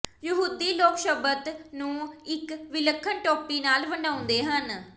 ਯਹੂਦੀ ਲੋਕ ਸ਼ਬਤ ਨੂੰ ਇਕ ਵਿਲੱਖਣ ਟੋਪੀ ਨਾਲ ਵਡਿਆਉਂਦੇ ਹਨ